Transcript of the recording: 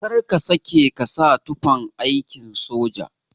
Kar ka sake ka sa tufan aikin sojoji